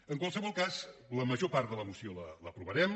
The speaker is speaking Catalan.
en qualsevol cas la major part de la moció l’aprovarem